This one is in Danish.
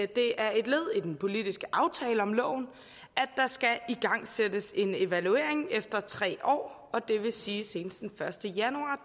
det er et led i den politiske aftale om loven at der skal igangsættes en evaluering efter tre år det vil sige senest den første januar